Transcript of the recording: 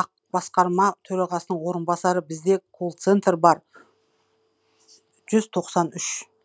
ақ басқарма төрағасының орынбасары бізде колл центр бар жүз тоқсан үш